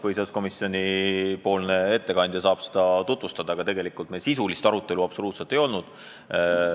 Põhiseaduskomisjoni ettekandja saab sellest rääkida, aga tegelikult meil sisulist arutelu absoluutselt ei olnud.